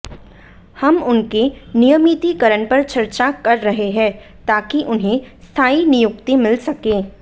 हम उनके नियमितीकरण पर चर्चा कर रहे हैं ताकि उन्हें स्थाई नियुक्ति मिल सके